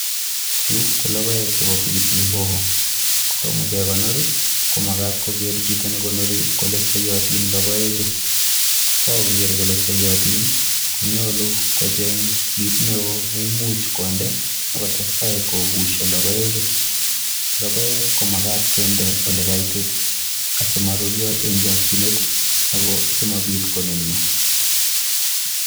Chu ko logoek chepo pilipili hoho. Kotomo kekonor ko makat koro chito nekonori kole soiyotin logoechu. Kokakoker kole soiyotin, konyolu kocheng kit neo neimuch konde akotestai kobusio logoechu. Logoek ko makat kende olekaitit asimaruryo eng chokchinet ako asimabit konunio